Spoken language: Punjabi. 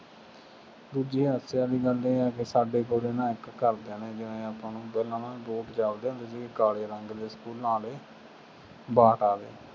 ਦੂਜੀ ਹਾਸੇ ਵਾਲੀ ਗੱਲ ਇਹ ਹੈ ਕਿ ਸਾਡੇ ਕੋਲੇ ਨਾ ਇੱਕ ਘਰਦਿਆਂ ਨੇ ਜਿਵੇਂ ਆਪਾਂ ਨੂੰ ਦੋਨਾਂ ਨੂੰ ਬੂਟ ਚੱਲਦੇ ਹੁੰਦੇ ਸੀ ਕਾਲੇ ਰੰਗ ਦੇ ਸਕੂਲਾਂ ਆਲੇ ਬਾਟਾ ਦੇ